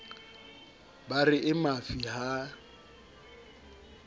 ba re e mafi ha